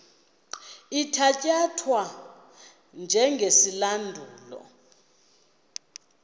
ithatya thwa njengesilandulo